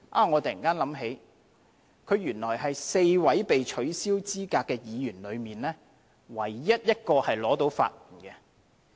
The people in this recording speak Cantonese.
我突然想起，原來他是4位被取消資格的議員中唯一一個獲得法援的。